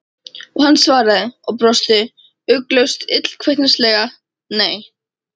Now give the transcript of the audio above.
Og hann svaraði, og brosti ugglaust illkvittnislega: Nei.